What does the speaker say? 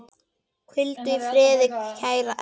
Hvíldu í friði kæra Erla.